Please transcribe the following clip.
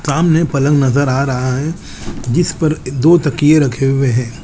सामने पलंग नज़र आ रहा है जिस पर दो तकिये रखे हुए है।